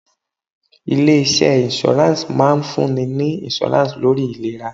Ilé iṣẹ́ insurance máa ń fún ni ní insurance lórí ìlera.